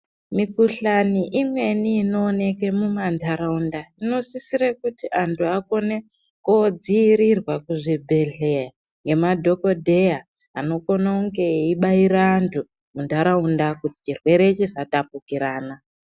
Mikuhlani imweni inooneke mumantaraunda inosisire kuti antu vakone kudziirirwa kuzvibhedhlera ngemadhokodheya anokone kunge eibaira antu muntaraunda kuti chirwere chisatapukirana .